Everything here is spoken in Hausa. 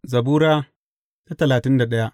Zabura Sura talatin da daya